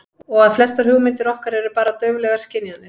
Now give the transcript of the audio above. Og að flestar hugmyndir okkar eru bara dauflegar skynjanir.